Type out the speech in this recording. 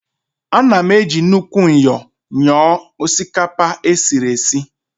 Ana m eji nnukwu myọ nyọọ osikapa esiri esi